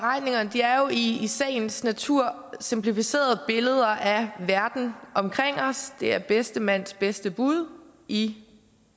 er jo i sagens natur simplificerede billeder af verden omkring os det er bedste mands bedste bud i